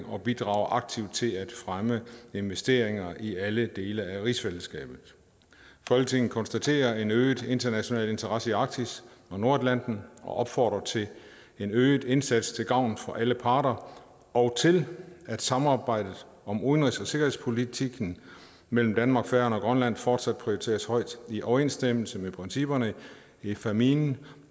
og bidrage aktivt til at fremme investeringer i alle dele af rigsfællesskabet folketinget konstaterer en øget international interesse i arktis og nordatlanten og opfordrer til en øget indsats til gavn for alle parter og til at samarbejdet om udenrigs og sikkerhedspolitikken mellem danmark færøerne og grønland fortsat prioriteres højt i overensstemmelse med principperne i fámjin